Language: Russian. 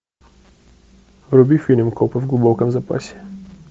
вруби фильм копы в глубоком запасе